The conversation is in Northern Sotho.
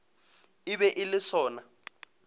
e be e le sona